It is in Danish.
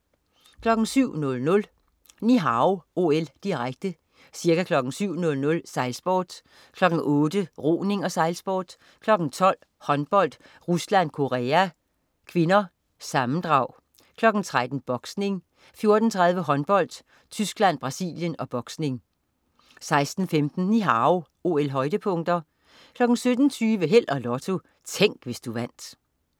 07.00 Ni Hao OL, direkte. Ca. kl. 7.00: Sejlsport, kl. 8.00: Roning og sejlsport, kl. 12.00: Håndbold: Rusland-Korea (k) (sammendrag), kl. 13.00: Boksning, 14.30: Håndbold: Tyskland-Brasilien og boksning 16.15 Ni Hao OL-højdepunkter 17.20 Held og Lotto. Tænk, hvis du vandt